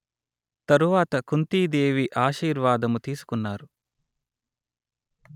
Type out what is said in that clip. తరువాత కుంతీదేవి ఆశీర్వాదము తీసుకున్నారు